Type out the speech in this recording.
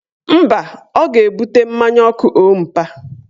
Mba, ọ ga-ebute mmanya ọkụ ompa